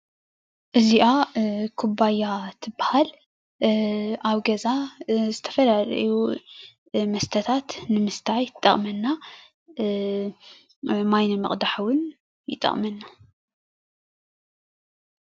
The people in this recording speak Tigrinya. እዚኣ ኩባያ ትበሃል ። ኣብ ገዛ ዝተፈላለዩ መስተታት ንምስታይ ትጠቅመና። ማይ ነምቅዳሕ እውን ይጠቅመና።